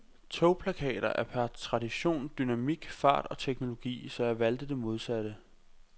Togplakater er per tradition dynamik, fart og teknologi, så jeg valgte det modsatte.